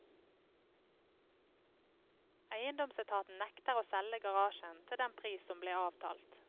Eiendomsetaten nekter å selge garasjen til den pris som ble avtalt.